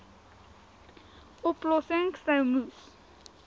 oplossings sou moes